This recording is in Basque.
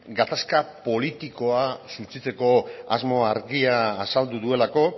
gatazka politikoa suntsitzeko asmo argia azaldu duelako